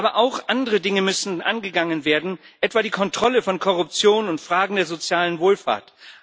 Aber auch andere Dinge müssen angegangen werden, etwa die Kontrolle von Korruption und Fragen der sozialen Wohlfahrt.